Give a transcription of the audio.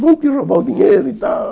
Vão te roubar o dinheiro e tal.